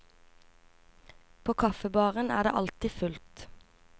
På kaffebaren er det alltid fullt.